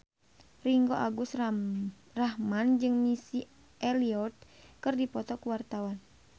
Ringgo Agus Rahman jeung Missy Elliott keur dipoto ku wartawan